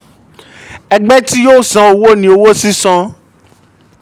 ẹgbẹ́ tí yóò san owó ni “owó sísan.”